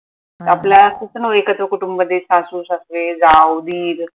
आपला कुटुंब एकत्र कुटुंब देश सासू सासरे जाऊ दीर